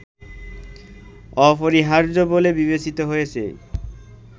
অপরিহার্য বলে বিবেচিত হয়েছে